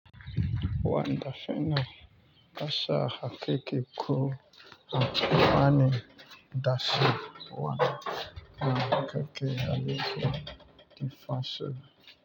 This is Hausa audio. Wanda shine kasha hakiki ko anyi dashi? Wanda na hakika ya yi kyau, kin fasa.